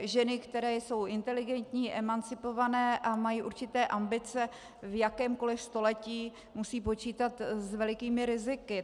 ženy, které jsou inteligentní, emancipované a mají určité ambice, v jakémkoli století musí počítat s velikými riziky.